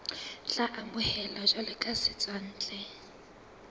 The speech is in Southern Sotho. tla amohelwa jwalo ka setswantle